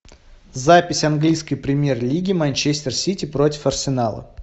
запись английской премьер лиги манчестер сити против арсенала